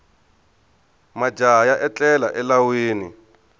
majaha ya etlela elawini